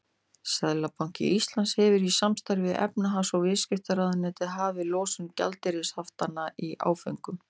Seðlabanki Íslands hefur í samstarfi við efnahags- og viðskiptaráðuneytið hafið losun gjaldeyrishaftanna í áföngum.